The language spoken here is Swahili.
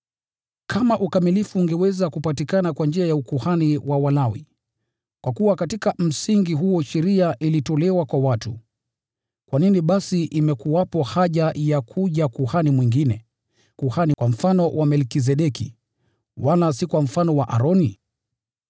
Kama ukamilifu ungeweza kupatikana kwa njia ya ukuhani wa Walawi (kwa kuwa katika msingi huo, sheria ilitolewa kwa watu), kwa nini basi imekuwepo haja ya kuja kuhani mwingine: kuhani kwa mfano wa Melkizedeki, wala si kwa mfano wa Aroni?